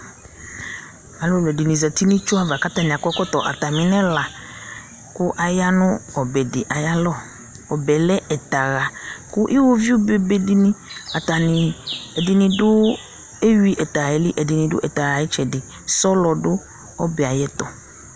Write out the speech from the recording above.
alò ɛdini zati n'itsu ava k'atani akɔ ɛkɔtɔ atami nɛla kò aya no ɔbɛ di ayi alɔ ɔbɛ lɛ ɛta ɣa kò uwoviu be be be di ni atani ɛdini du ewi ɛta ɣa yɛ li ɛdini du ɛta ɣa ayi itsɛdi sɔlɔ du ɔbɛ ayi ɛto